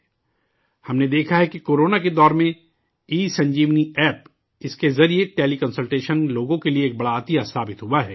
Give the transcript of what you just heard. ہم نے دیکھا ہے کہ کورونا کے دور میں ای سنجیونی ایپ اس کے ذریعے ٹیلی کنسلٹیشن لوگوں کے لیے ایک بڑی نعمت ثابت ہوئی ہے